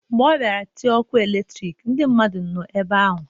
Mgbe ọ bịara itinye ọkụ elektrik, ndị mmadụ nọ ebe ahụ.